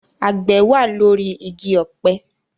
Àgbẹ̀ wà lórí igi ọ̀pẹ